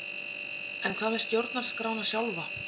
En hvað með stjórnarskrána sjálfa?